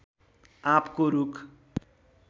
आँपको रूख